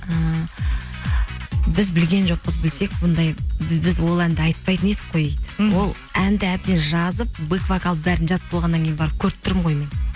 ііі біз білген жоқпыз білсек бұндай біз ол әнді айтпайтын едік қой дейді мхм ол әнді әбден жазып беквокалды бәрін жазып болғаннан кейін барып көріп тұрмын ғой мен